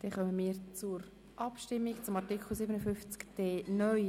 Wir kommen zur Abstimmung über Artikel 57d (neu).